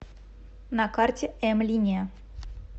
на карте м линия